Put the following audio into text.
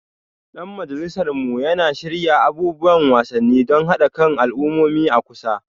Dan majalisar mu yana shirya abubuwan wasanni don haɗa kan al'ummomi a kusa.